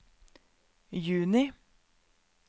juni